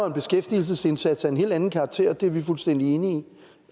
en beskæftigelsesindsats af en helt anden karakter det er vi fuldstændig enige i